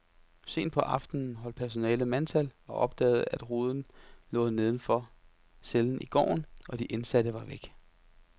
Sent på aftenen holdt personalet mandtal og opdagede, at ruden lå neden for cellen i gården, og de indsatte var væk.